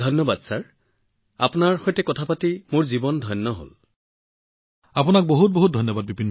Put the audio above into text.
ধন্যবাদ ছাৰ ধন্যবাদ ছাৰ মোৰ জীৱন ধন্য অনুভৱ কৰিলো আপোনাৰ সৈতে কথা পাতি